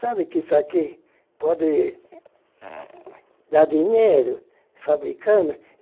Sabe que isso aqui pode dar dinheiro, fabricando?